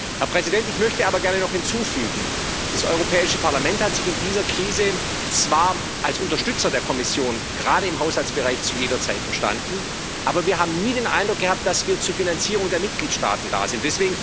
Herr Präsident, ich möchte aber gerne noch hinzufügen Das Europäische Parlament hat sich in dieser Krise zwar zu jeder Zeit als Unterstützer der Kommission, gerade im Haushaltsbereich, verstanden, aber wir haben nie den Eindruck gehabt, dass wir zur Finanzierung der Mitgliedstaaten da sind.